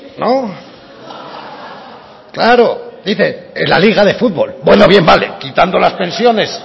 no claro dice en la liga de futbol bueno bien vale quitando las pensiones